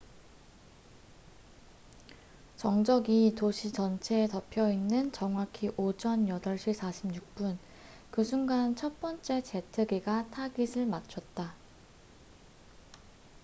정적이 도시 전체에 덮여 있는 정확히 오전 8시 46분 그 순간 첫 번째 제트기가 타깃을 맞췄다